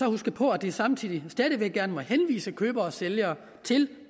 huske på at de samtidig stadig væk gerne må henvise købere og sælgere til